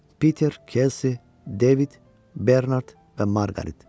Peter, Casey, David, Bernard və Margaret.